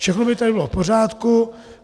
Všechno by tady bylo v pořádku.